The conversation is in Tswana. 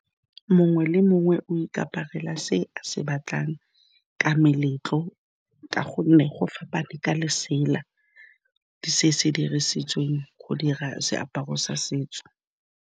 Mongwe le mongwe o ikaparela se a se batlang ka meletlo ka gonne go fapana ka lesela, ke se se dirisitsweng go dira seaparo sa setso.